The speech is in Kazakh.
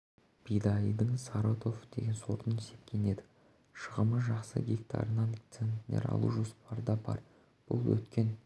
бидайдың саратов деген сортын сепкен едік шығымы жақсы гектарынан центнер алу жоспарда бар бұл өткен